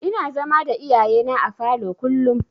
Ina zama da iyayena a falo kullum.